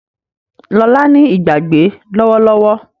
Lola ní Ìgbàgbé lówó lówó.